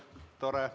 Tore.